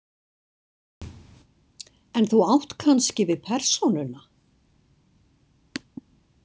En þú átt kannski við persónuna?